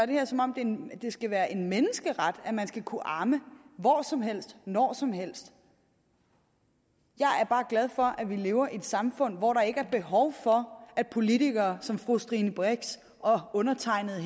det her som om det skal være en menneskeret at man skal kunne amme hvor som helst og når som helst jeg er bare glad for at vi lever i et samfund hvor der ikke er behov for at politikere som fru stine brix og undertegnede